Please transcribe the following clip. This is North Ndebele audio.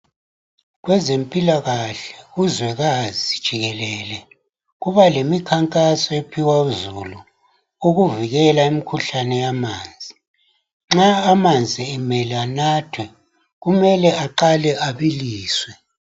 Kwezempilakahle kuzwekazi jikelele kuba lemikhankaso ephiwa uzulu ukuvikela imikhuhlane yamanzi. Nxa amanzi emele anathwe kumele aqale abiliswe .